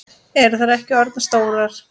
Eru þær ekki orðnar stórar?